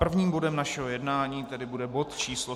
Prvním bodem našeho jednání tedy bude bod číslo